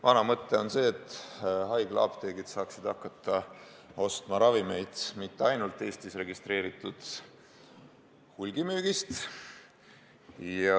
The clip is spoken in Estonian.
Vana mõte on see, et haiglaapteegid saaksid hakata ostma ravimeid mitte ainult Eestis registreeritud hulgimüügist.